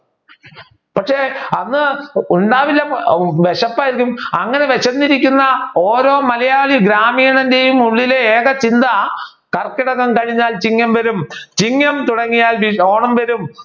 പക്ഷെ അന്ന് ഉണ്ടാവില്ല വിശപ്പായിരിക്കും അങ്ങനെ വിശന്നിരിക്കുന്ന ഓരോ മലയാളി ഗ്രാമീണന്റെയും ഉള്ളിലെ ഏക ചിന്ത കർക്കിടകം കഴിഞ്ഞാൽ ചിങ്ങം വരും ചിങ്ങം തുടങ്ങിയാൽ വി ഓണം വരും